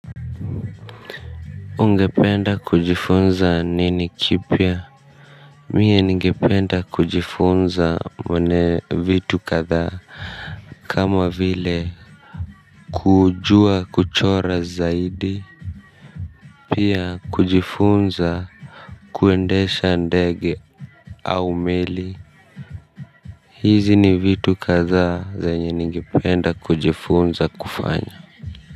Ungependa kujifunza nini kipya mimi ningipenda kujifunza vitu kadhaa kama vile kujua kuchora zaidi pia kujifunza kuendesha ndege au meli hizi ni vitu kadhaa zenye ningependa kujifunza kufanya.